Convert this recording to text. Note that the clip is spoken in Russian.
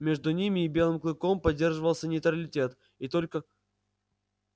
между ними и белым клыком поддерживался нейтралитет и только